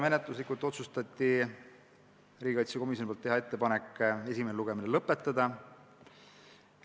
Menetluslikult otsustati, et riigikaitsekomisjon teeb ettepaneku esimene lugemine lõpetada.